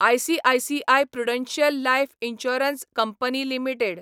ICICI Prudential life insurance company limited